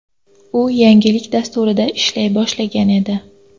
U yangilik dasturida ishlay boshlagan edi.